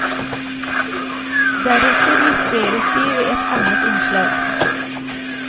Deretter justeres de ved at annet innslag.